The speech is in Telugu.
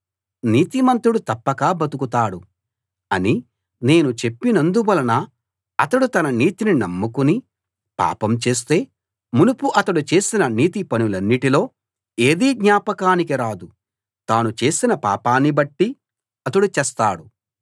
నీతిమంతుడు తప్పక బతుకుతాడు అని నేను చెప్పినందువలన అతడు తన నీతిని నమ్ముకుని పాపం చేస్తే మునుపు అతడు చేసిన నీతి పనులన్నిటిలో ఏదీ జ్ఞాపకానికి రాదు తాను చేసిన పాపాన్ని బట్టి అతడు చస్తాడు